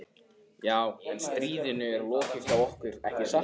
Já, en stríðinu er lokið hjá okkur, ekki satt?